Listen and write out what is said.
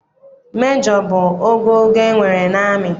Mejọ bụ ogogo e nwere n'amị.